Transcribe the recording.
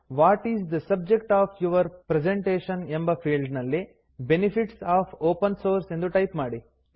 what is the subject of your presentation ಎಂಬ field ನಲ್ಲಿ benefits of open source ಎಂದು type ಮಾಡಿ